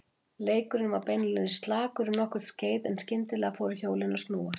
Leikurinn var beinlínis slakur um nokkurt skeið en skyndilega fóru hjólin að snúast.